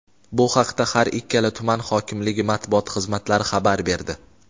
Bu haqda har ikkala tuman hokimligi Matbuot xizmatlari xabar berdi.